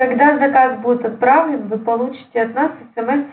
когда заказ будет отправлен вы получите от нас смс